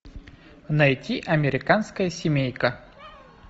найти американская семейка